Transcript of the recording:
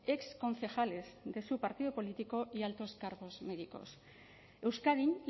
exconcejales de su partido político y altos cargos médicos euskadin